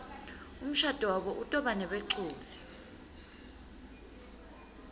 umshado wabo utobanebeculi